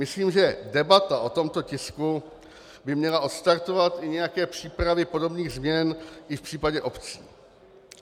Myslím, že debata o tomto tisku by měla odstartovat i nějaké přípravy podobných změn i v případě obcí.